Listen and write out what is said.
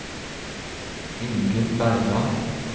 Ingunn Bergan